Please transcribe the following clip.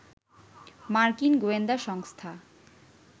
মার্কিন গোয়েন্দা সংস্থা